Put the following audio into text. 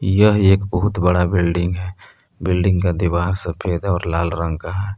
यह एक बहुत बड़ा बिल्डिंग है बिल्डिंग का दिवार सफेद और लाल रंग का है।